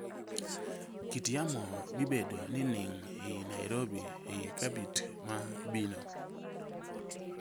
kit yamo bibedo nining i nairobi i cabit ma bino